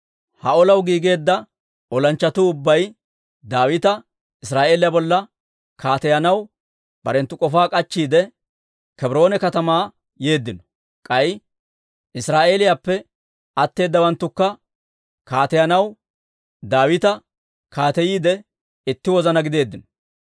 Ha olaw giigeedda olanchchatuu ubbay Daawita Israa'eeliyaa bolla kaateyanaw barenttu k'ofaa k'achchiide, Kebroone katamaa yeeddino. K'ay Israa'eeliyaappe atteedawanttukka Kaateyanaw Daawita kaateyiide itti wozana gideeddino.